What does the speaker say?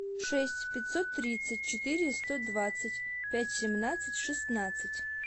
шесть пятьсот тридцать четыре сто двадцать пять семнадцать шестнадцать